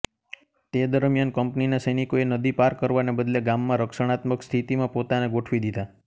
તે દરમિયાન કંપનીના સૈનિકોએ નદી પાર કરવાને બદલે ગામમાં રક્ષણાત્મક સ્થિતિમાં પોતાને ગોઠવી દીધા